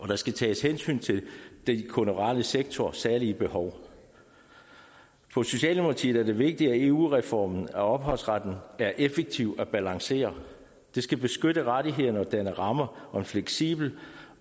der skal tages hensyn til den kulturelle sektors særlige behov for socialdemokratiet er det vigtigt at eu reformen af ophavsretten er effektiv og balancerer det skal beskytte rettighederne og danne ramme om en fleksibel